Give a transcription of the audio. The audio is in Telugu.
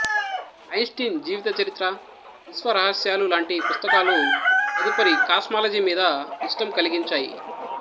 ఐన్స్టఇన్ జీవిత చరిత్ర విశ్వరహశ్యాలు లాంటి పుస్తకాలు తదుపరి కాస్మాలజి మీద ఇష్టం కలిగించేయి